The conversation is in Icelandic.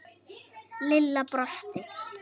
Lilla brosti.